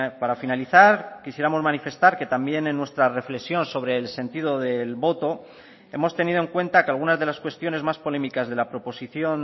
para finalizar quisiéramos manifestar que también en nuestra reflexión sobre el sentido del voto hemos tenido en cuenta que algunas de las cuestiones más polémicas de la proposición